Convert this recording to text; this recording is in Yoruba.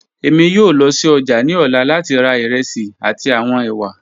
Emi yoo lọ si ọja ni ọla lati ra iresi ati awọn ewa.